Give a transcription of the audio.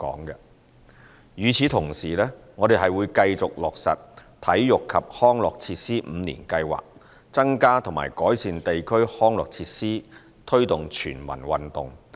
與此同時，我們會繼續落實體育及康樂設施五年計劃，增加和改善地區康樂設施，推動全民運動。